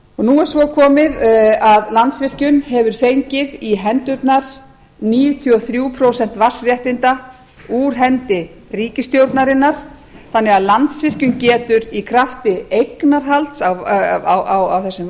nú er svo komið að landsvirkjun hefur fengið í hendurnar níutíu og þrjú prósent vatnsréttinda úr hendi ríkisstjórnarinnar þannig að landsvirkjun getur í krafti eignarhalds á þessum